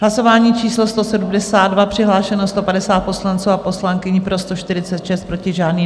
Hlasování číslo 172, přihlášeno 150 poslanců a poslankyň, pro 146, proti žádný.